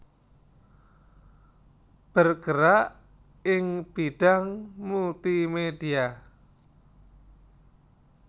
bergerak ing bidang Multimedia